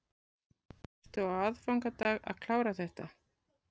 Ertu á aðfangadag að klára þetta?